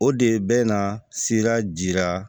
O de bɛ na sira jira